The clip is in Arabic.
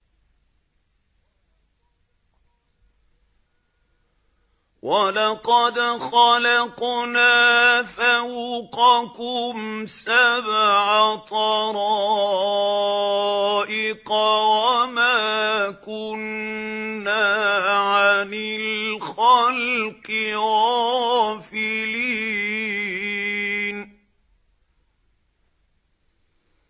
وَلَقَدْ خَلَقْنَا فَوْقَكُمْ سَبْعَ طَرَائِقَ وَمَا كُنَّا عَنِ الْخَلْقِ غَافِلِينَ